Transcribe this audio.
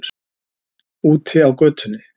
Úti á götunni.